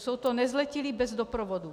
Jsou to nezletilí bez doprovodu.